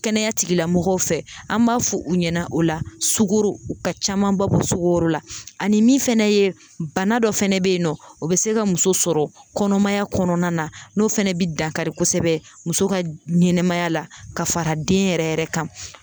Kɛnɛya tigilamɔgɔw fɛ, an b'a fɔ u ɲɛna o la sogoro ka camanba bɔ sogoro la. Ani min fɛnɛ ye bana dɔ fɛnɛ be yen nɔ ,o be se ka muso sɔrɔ kɔnɔmaya kɔnɔna na n'o fana be dankari kosɛbɛ muso ka ɲɛnɛmaya la ka fara den yɛrɛ yɛrɛ kan.